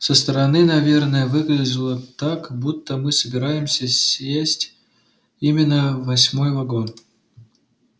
со стороны наверное выглядело так будто мы собираемся сесть именно в восьмой вагон